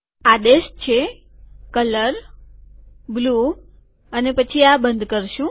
આદેશ છે colour blue અને પછી આ બંધ કરશું